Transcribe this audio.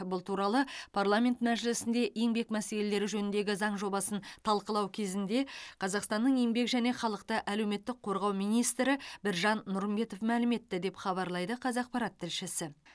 бұл туралы парламент мәжілісінде еңбек мәселелері жөніндегі заң жобасын талқылау кезінде қазақстанның еңбек және халықты әлеуметтік қорғау министрі біржан нұрымбетов мәлім етті деп хабарлайды қазақпарат тілшісі